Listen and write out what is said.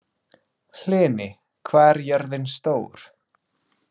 Hlini, hvað er jörðin stór?